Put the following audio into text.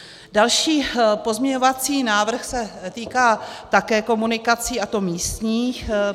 Další pozměňovací návrh se týká také komunikací, a to místních.